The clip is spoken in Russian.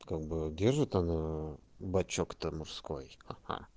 как бы держит она бачок-то мужской аа